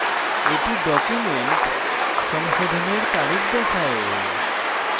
এটি document সংশোধনের তারিখ দেখায়